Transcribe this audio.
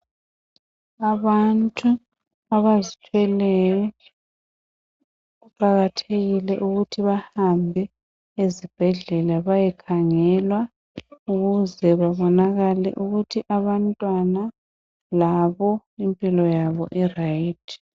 Abantu abazithwelyo kuqakathekile ukuthi bahambe ezibhedlela bayekhangelwa ukuze babonakle ukuthi abantwana labo impilo yabo barayithi.